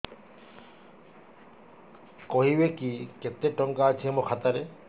କହିବେକି କେତେ ଟଙ୍କା ଅଛି ମୋ ଖାତା ରେ